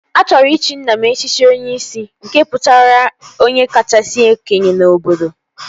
A chọrọ ịchị nna m echichi Onyishi nke pụtara onye kachasị okenye n'obodo